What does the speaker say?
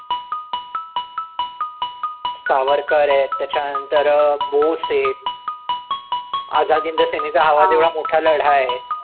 सावरकर आहे त्याच्यानंतर अं बोस आहेत आजाद हिंद सेनेचा आवाज एवढा मोठा लढा आहे.